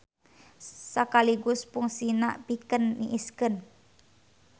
Sakaligus pungsina pikeun niiskeun.